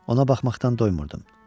Ona baxmaqdan doymurdum.